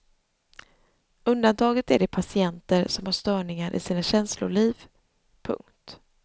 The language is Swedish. Undantaget är de patienter som har störningar i sina känsloliv. punkt